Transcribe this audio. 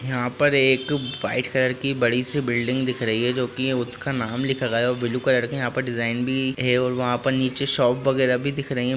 यहा पर एक व्हाइट कलर की बड़ी सी बिल्डिंग दिख रही है जो की उसका नाम लिखा गया है ब्लू कलर की यहा पर डिजाइन भी है और वहा पर नीचे शॉप वगेराह भी दिख रही है।